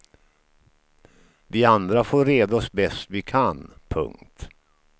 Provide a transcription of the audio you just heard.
Vi andra får reda oss bäst vi kan. punkt